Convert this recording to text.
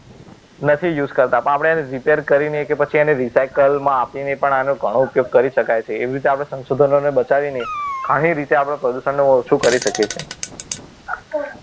નથી use કરતા પણ આપણે એને repair કરીને કે પછી એને recycle માં આપીને પણ આનો ઘણો ઉપયોગ કરી શકાય છે એવી રીતે આપણે સંશોધન ને બચાવીને ઘણી રીતે આપણે પ્રદૂષણને ઓછું કરી શકીએ છીએ